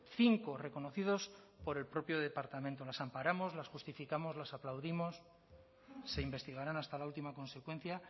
cinco reconocidos por el propio departamento las amparamos las justificamos las aplaudimos se investigarán hasta la última consecuencia